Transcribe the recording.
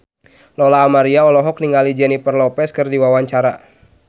Lola Amaria olohok ningali Jennifer Lopez keur diwawancara